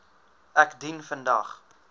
ek dien vandag